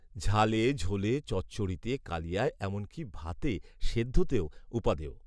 ঝালে ঝোলে চচ্চড়িতে, কালিয়ায়, এমনকী ভাতে, সেদ্ধতেও উপাদেয়